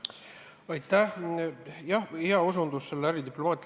Aitäh, hea osutus äridiplomaatiale!